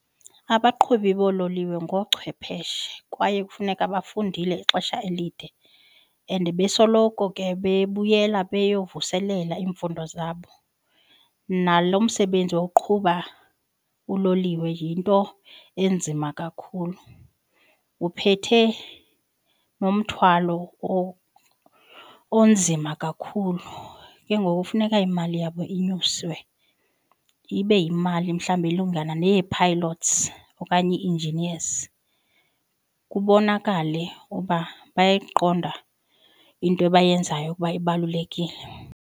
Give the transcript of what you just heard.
Abaqhubi boololiwe ngoochwepheshe kwaye kufuneka bafundile ixesha elide and besoloko ke bebuyela beyovuselela iimfundo zabo. Nalo msebenzi woqhuba uloliwe yinto enzima kakhulu, uphethe nomthwalo onzima kakhulu. Ke ngoku funeka imali yabo inyuswe ibe yimali mhlawumbi elingana neyee-pilots okanye i-engineers. Kubonakale uba bayayiqonda into bayenzayo ukuba ibalulekile.